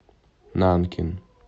нанкин